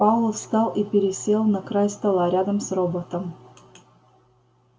пауэлл встал и пересел на край стола рядом с роботом